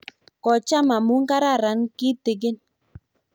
kocham amu kararan kitegen